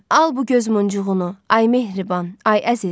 Al bu göz muncuğunu, ay mehriban, ay əziz.